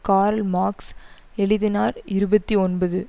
curl Marx எழுதினார் இருபத்தி ஒன்பது